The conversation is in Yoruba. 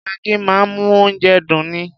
Maggi máa ń mú oúnjẹ dùn ni.